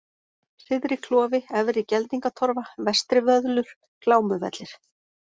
Syðriklofi, Efri-Geldingatorfa, Vestrivöðlur, Glámuvellir